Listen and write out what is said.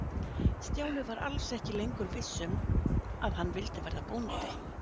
Stjáni var alls ekki lengur viss um að hann vildi verða bóndi.